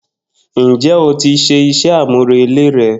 Njé o tí se isé àmúrelé re?